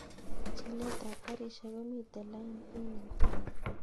Chilet ab garishek komiten lain en inguni